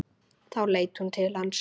Þá leit hún til hans.